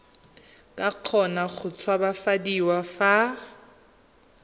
ka kgona go tshabafadiwa fa